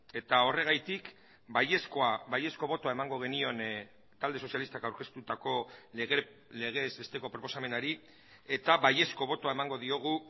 eta horregatik baiezkoa baiezko botoa emango genion talde sozialistak aurkeztutako legez besteko proposamenari eta baiezko botoa emango diogu